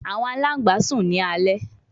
Awọn alangba sun ni alẹ